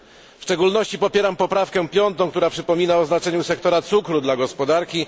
W szczególności popieram piątą poprawkę, która przypomina o znaczeniu sektora cukru dla gospodarki.